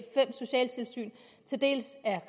fem socialtilsyn dels er